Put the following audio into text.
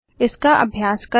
इसका अभ्यास करें